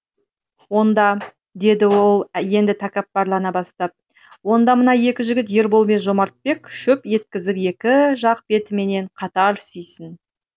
онда деді ол енді тәкаппарлана бастап онда мына екі жігіт ербол мен жомартбек шөп еткізіп екі жақ бетімнен қатар сүйсін